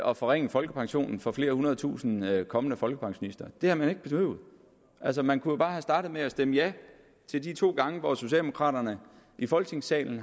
og forringe folkepensionen for flere hundrede tusinde kommende folkepensionister det havde man ikke behøvet altså man kunne jo bare have startet med at stemme ja de to gange hvor socialdemokraterne i folketingssalen